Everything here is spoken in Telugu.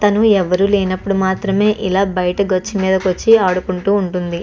తను ఎవ్వరూ లేనప్పుడు మాత్రమే ఇలా బయటకు వచ్చి నేల మీదకు వచ్చి ఆడుకుంటూ ఉంటుంది.